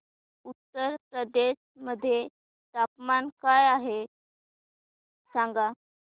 उत्तर प्रदेश मध्ये तापमान काय आहे सांगा